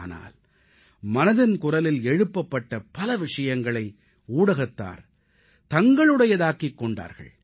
ஆனால் மனதின் குரலில் எழுப்பப்பட்ட பல விஷயங்களை ஊடகத்தார் தங்களுடையதாக்கிக் கொண்டார்கள்